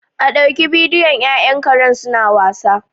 A ɗauki bidiyon ƴaƴan karen suna wasa